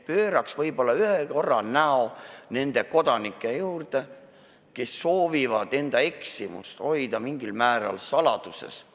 Pööraks võib-olla ühe korra näo nende kodanike poole, kes soovivad enda eksimust mingil määral saladuses hoida.